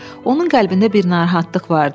Onun qəlbində bir narahatlıq vardı.